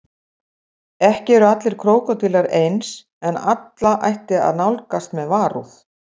Ekki eru allir krókódílar eins en alla ætti að nálgast með varúð.